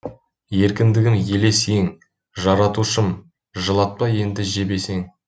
еркіндігім елес ең жаратушым жылатпа енді жебесең